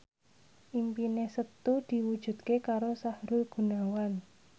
impine Setu diwujudke karo Sahrul Gunawan